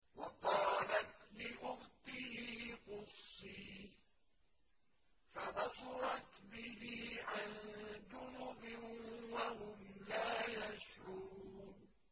وَقَالَتْ لِأُخْتِهِ قُصِّيهِ ۖ فَبَصُرَتْ بِهِ عَن جُنُبٍ وَهُمْ لَا يَشْعُرُونَ